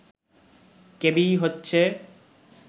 KBE হচ্ছে